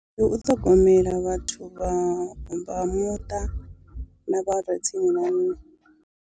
Ndi u ṱhogomela vhathu vha vha muṱa na vhare tsini na nṋe.